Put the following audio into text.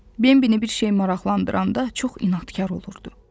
Bembini bir şey maraqlandırananda çox inadkar olurdu.